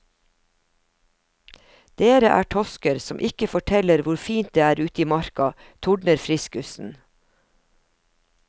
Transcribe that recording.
Dere er tosker som ikke forteller hvor fint det er ute i marka, tordner friskusen.